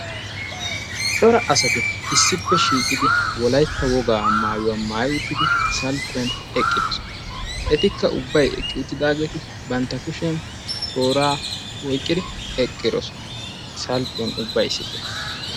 Cora asatti issi mala maayuwa maayiddi issippe eqqidosonna. Ettikk bantta kushiyan toora oyqqi uttidosonna.